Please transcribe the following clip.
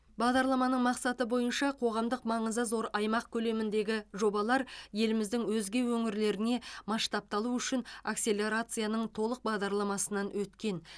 бағдарламаның мақсаты бойынша қоғамдық маңызы зор аймақ көлеміндегі жобалар еліміздің өзге өңірлеріне масштабталу үшін акселерацияның толық бағдарламасынан өткен